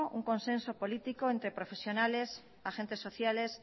un consenso político entre profesionales agentes sociales